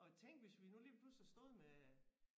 Og tænk hvis vi nu lige pludselig stod med